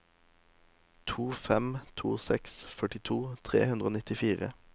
to fem to seks førtito tre hundre og nittifire